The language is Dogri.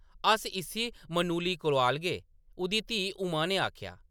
“अस इस्सी मनुली कोआलगे”, उंʼदी धीऽ उमा ने आखेआ ।